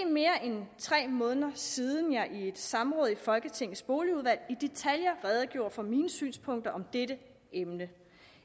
mere end tre måneder siden jeg i et samråd i folketingets boligudvalg i detaljer redegjorde for mine synspunkter om dette emne